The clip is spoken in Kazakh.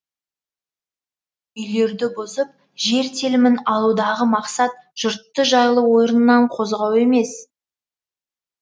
үйлерді бұзып жер телімін алудағы мақсат жұртты жайлы орнынан қозғау емес